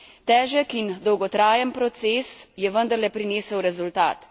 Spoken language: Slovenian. Težek in dolgotrajen proces je vendarle prinesel rezultat.